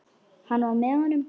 Hann var með honum!